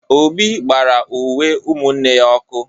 Obi gbara uwe umunne ya ọkụ